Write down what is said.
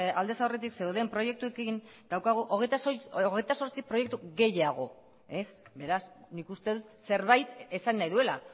aldez aurretik zeuden proiektuekin daukagu hogeita zortzi proiektu gehiago beraz nik uste dut zerbait esan nahi duela